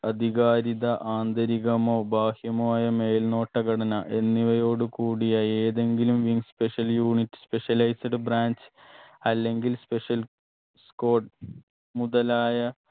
അധികാരിത ആന്തരികമോ ബാഹ്യമോ ആയ മേൽനോട്ട ഘടന എന്നിവയോടു കൂടിയ ഏതെങ്കിലും in special unit specialised branch അല്ലെങ്കിൽ special squad മുതലായ